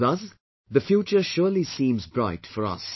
Thus, the future surely seems bright for us